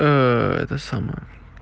это самое